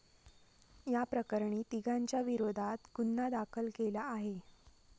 याप्रकरणी तिघांच्या विरोधात गुन्हा दाखल केला आहे.